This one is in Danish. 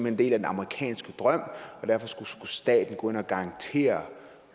en del af den amerikanske drøm og derfor skulle staten gå ind og garantere